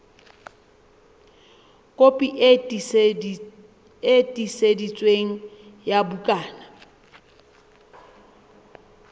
kopi e tiiseditsweng ya bukana